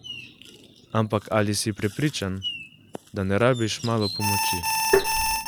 Ampak ali si prepričan, da ne rabiš malo pomoči?